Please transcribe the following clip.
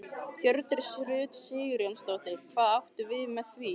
Hjördís Rut Sigurjónsdóttir: Hvað áttu við með því?